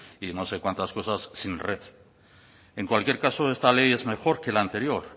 y no sé cuántas cosas sin red en cualquier caso esta ley es mejor que la anterior